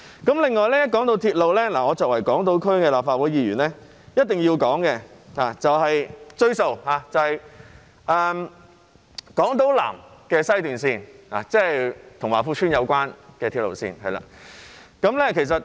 此外，談到鐵路，作為港島區立法會議員，我一定要"追數"，就是南港島綫，即與華富邨有關的鐵路線。